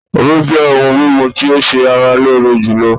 Omí jẹ́ òhún mímú tí o ṣé ara lóore jùlọ.